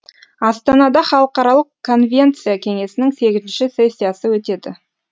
астанада халықаралық конвенция кеңесінің сегізінші сессиясы өтеді